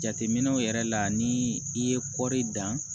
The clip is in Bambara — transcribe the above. Jateminɛw yɛrɛ la ni i ye kɔri dan